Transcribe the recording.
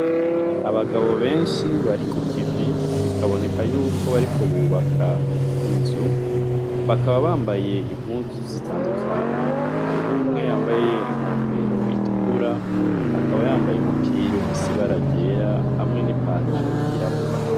Abagabo benshi bari ku kivi bikaboneka yuko bariko bubaka inzu, bakaba bambaye impuzu zitandukanye. Hariho umwe yambaye inkofero itukura, akaba yambaye umupira ufise ibara ryera hamwe n’ipantaro y’irabura.